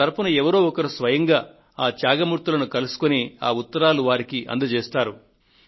నా తరఫున ఎవరో ఒకరు స్వయంగా ఆ త్యాగమూర్తులను కలుసుకొని ఆ ఉత్తరాలను వారికి అందజేస్తారు